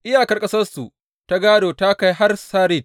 Iyakar ƙasarsu ta gādo ta kai har Sarid.